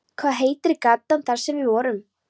Hvað heitir gatan þar sem við vorum?